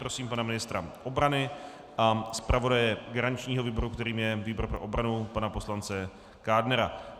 Prosím pana ministra obrany a zpravodaje garančního výboru, kterým je výbor pro obranu, pana poslance Kádnera.